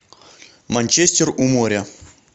манчестер у моря